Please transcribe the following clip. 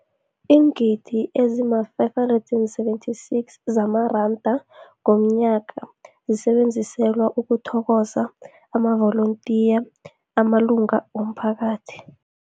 Iingidi ezima-576 zamaranda ngomnyaka zisetjenziselwa ukuthokoza amavolontiya amalunga womphakathi.